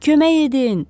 Kömək edin!